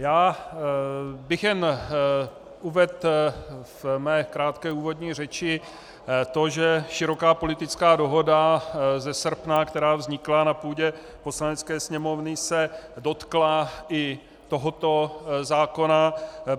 Já bych jen uvedl ve své krátké úvodní řeči to, že široká politická dohoda ze srpna, která vznikla na půdě Poslanecké sněmovny, se dotkla i tohoto zákona.